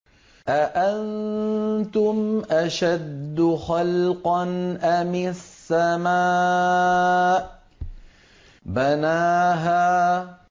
أَأَنتُمْ أَشَدُّ خَلْقًا أَمِ السَّمَاءُ ۚ بَنَاهَا